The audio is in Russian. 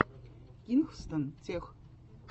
кингстон тех